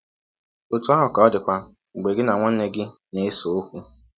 Ọtụ ahụ ka ọ dịkwa mgbe gị na nwanne gị na - ese ọkwụ.